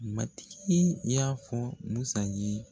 Matigi y'a fɔ musa ye